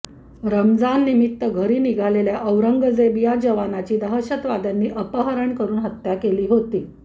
रमाजान निमित्त घरी निघालेल्या औरंगजेब या जवानाची दहशतवाद्यांनी अपहरण करून हत्या केली होती